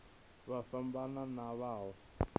vha fhambane na vha mawe